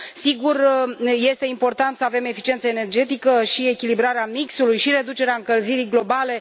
Sigur, este important să avem eficiență energetică, echilibrarea mixului și reducerea încălzirii globale.